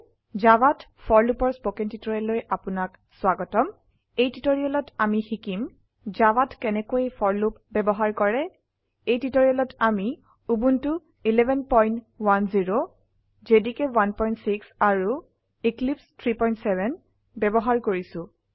জাভাত for loop ৰ spoken টিউটোৰিয়েলে আপনাক স্বাগতম এই টিউটোৰিয়েলত আমি শিকিম জাভাত কেনেকৈ ফৰ লুপ বয়ৱহাৰ কৰে এই টিউটোৰিয়েলত আমি উবুন্টু 1110 জেডিকে 16 আৰু এক্লিপছে 37 ব্যবহাৰ কৰিছো